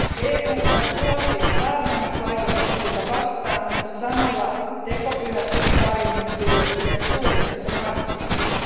EU on vuosia saarnannut laitonta puuta vastaan, mutta samalla tekopyhästi tarjonnut sille yhden suurimmista markkinoista.